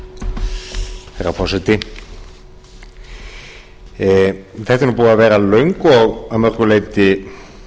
herra forseti þetta er búin að vera löng og að mörgu leyti